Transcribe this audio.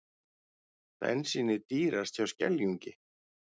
Bensínið dýrast hjá Skeljungi